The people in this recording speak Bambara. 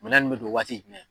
Minɛn nun bɛ don waati jumɛn.